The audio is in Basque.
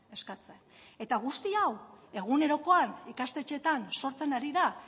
eskatzen eta guzti hau egunerokoan ikastetxeetan sortzen ari da